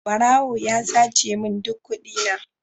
Barawo ya sace min duk kudina.